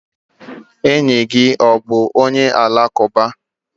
Enyi gị ọ bụ onye alakụba?